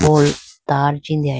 poll tar chee andeyayi bo.